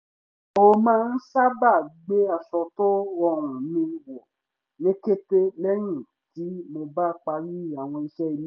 mo má ń sábà gbé aṣọ tó rọrùn mi wọ̀ ní kété lẹ́yìn tí mo bá parí àwọn iṣẹ́ ilé